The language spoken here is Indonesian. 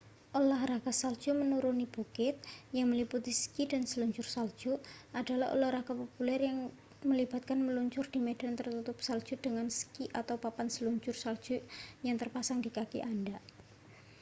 olahraga salju menuruni bukit yang meliputi ski dan seluncur salju adalah olahraga populer yang melibatkan meluncur di medan tertutup salju dengan ski atau papan seluncur salju yang terpasang di kaki anda